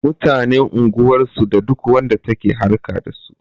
Mutanen unguwar su da duk wanda take harƙa dasu